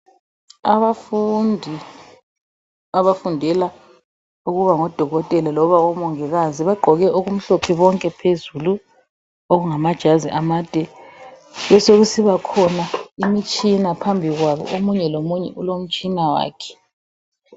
Abafundi abafundela ukuba ngodokotela loba omongikazi, bagqoke okumhlophe bonke phezulu okungamajazi amade. Besokusiba khona imitshina phambikwabo. Omunye lomunye ulomtshina wakhe.